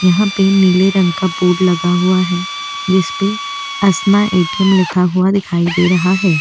यहाँ पे नीले रंग का बोर्ड लगा हुआ है जिस पे असना ए. टी. एम लिखा हुआ दिखाई दे रहा है।